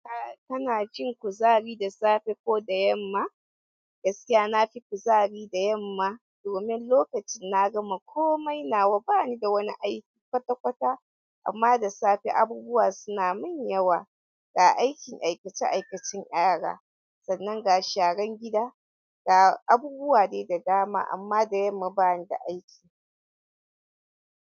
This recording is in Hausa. Ka, kana jin kuzari da safe ko da yamma? Gaskiya na fi kuzari da yamma domin lokacin na gama komai nawa bani da wani aiki kwata-kwata. Amma da safe abubuwa suna mun yawa. Ga aikin aikace-aikacen yara sannan ga sharan gida ga abubuwa de da dama amma da yamma ba ni da aiki.